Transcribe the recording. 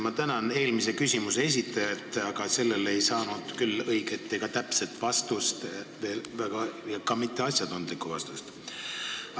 Ma tänan eelmise küsimuse esitajat, aga sellele küsimusele ei saanud küll õiget ega täpset vastust, ka mitte asjatundlikku vastust.